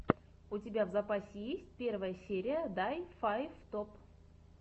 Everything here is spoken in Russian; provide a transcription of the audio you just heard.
у тебя в запасе есть первая серия дай файв топ